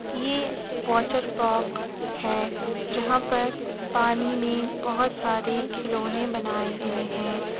ये वाटरपार्क हैं जहाँ पर पानी में बहोत सारे खिलौने बनाए गए हैं।